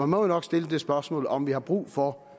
må jo nok stille det spørgsmål om vi har brug for